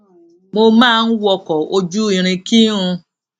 mo máa ń wọkò ojú irin kí n